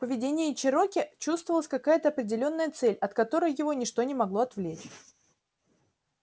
в поведении чероки чувствовалась какая то определённая цель от которой его ничто не могло отвлечь